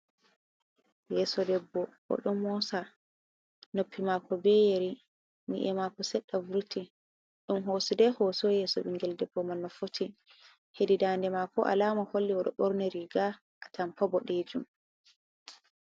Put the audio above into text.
Yeso debbo, oɗo mosa, noppi mako be yeri, ni’e mako seɗɗa vuruti on hosidai yeso ɓinngel debbo mal nofoti, hedi dade mako alama holle ɗoo ɓorni riga a tampa boɗejuum.